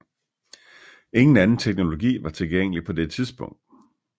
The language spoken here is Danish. Ingen anden teknologi var tilgængelig på det tidspunkt